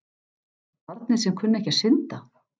Barnið sem kunni ekki að synda!